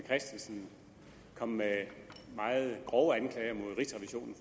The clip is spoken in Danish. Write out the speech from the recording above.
christensen kom med meget grove anklager mod rigsrevisionen